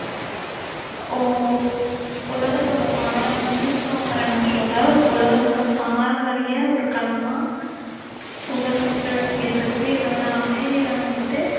ஓ~உலகத்தோடு பாரம் யுனெஸ்கோங்கிற நாட்டோட உலகத்தோட பாரம்பரிய ஒரு களமா புகழ்பெற்று விளங்கிட்டிருக்கு. இதோட அமைவிடம் வந்திட்டு